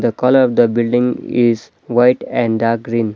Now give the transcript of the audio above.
The colour the building is white and dark green .